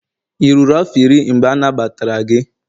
ị ruru afọ iri, mgbe anagbatara gị?